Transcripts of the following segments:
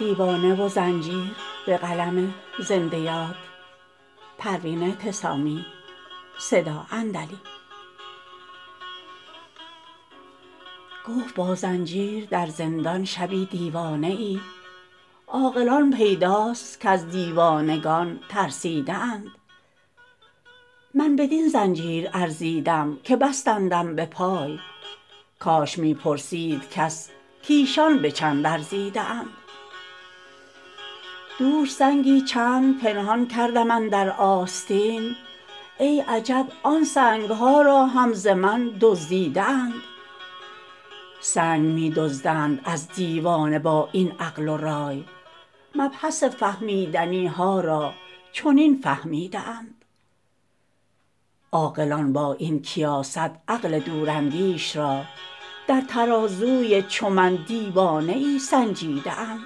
گفت با زنجیر در زندان شبی دیوانه ای عاقلان پیداست کز دیوانگان ترسیده اند من بدین زنجیر ارزیدم که بستندم به پای کاش می پرسید کس کایشان به چند ارزیده اند دوش سنگی چند پنهان کردم اندر آستین ای عجب آن سنگ ها را هم ز من دزدیده اند سنگ می دزدند از دیوانه با این عقل و رای مبحث فهمیدنی ها را چنین فهمیده اند عاقلان با این کیاست عقل دوراندیش را در ترازوی چو من دیوانه ای سنجیده اند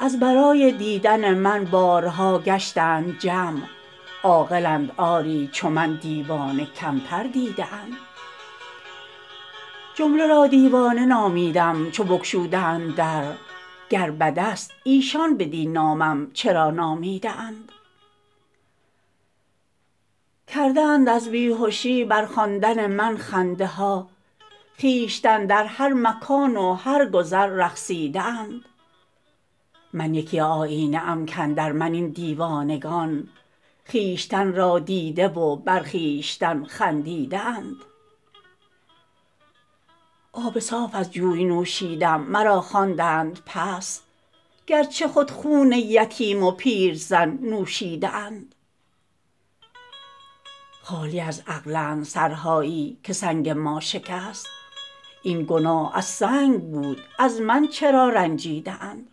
از برای دیدن من بارها گشتند جمع عاقلند آری چو من دیوانه کمتر دیده اند جمله را دیوانه نامیدم چو بگشودند در گر بدست ایشان بدین نامم چرا نامیده اند کرده اند از بیهشی بر خواندن من خنده ها خویشتن در هر مکان و هر گذر رقصیده اند من یکی آیینه ام کاندر من این دیوانگان خویشتن را دیده و بر خویشتن خندیده اند آب صاف از جوی نوشیدم مرا خواندند پست گرچه خود خون یتیم و پیرزن نوشیده اند خالی از عقلند سرهایی که سنگ ما شکست این گناه از سنگ بود از من چرا رنجیده اند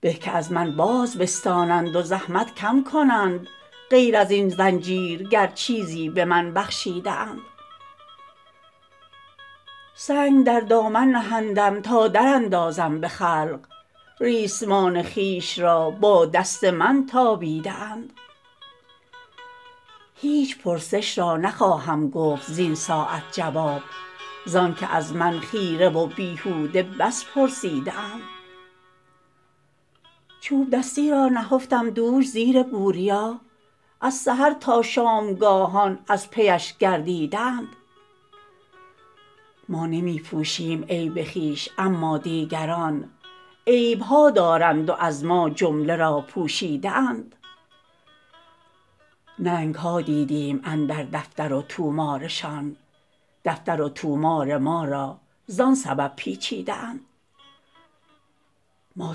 به که از من باز بستانند و زحمت کم کنند غیر ازین زنجیر گر چیزی به من بخشیده اند سنگ در دامن نهندم تا در اندازم به خلق ریسمان خویش را با دست من تابیده اند هیچ پرسش را نخواهم گفت زین ساعت جواب زان که از من خیره و بیهوده بس پرسیده اند چوب دستی را نهفتم دوش زیر بوریا از سحر تا شامگاهان از پیش گردیده اند ما نمی پوشیم عیب خویش اما دیگران عیب ها دارند و از ما جمله را پوشیده اند ننگ ها دیدیم اندر دفتر و طومارشان دفتر و طومار ما را زان سبب پیچیده اند ما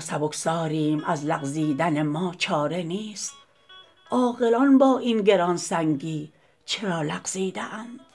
سبکساریم از لغزیدن ما چاره نیست عاقلان با این گرانسنگی چرا لغزیده اند